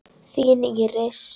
Þín Íris.